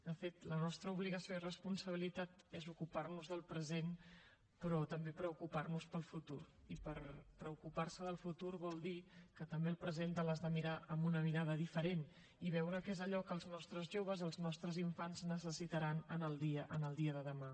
de fet la nostra obligació i responsabilitat és ocupar nos del present però també preocupar nos pel futur i preocupar se del futur vol dir que també el present te l’has de mirar amb una mirada diferent i veure què és allò que els nostres joves els nostres infants necessitaran el dia de demà